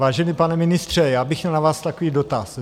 Vážený pane ministře, měl bych na vás takový dotaz.